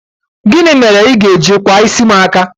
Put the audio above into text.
gini mere I ga-eji kwa isi m aka?